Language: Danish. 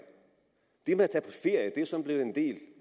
det med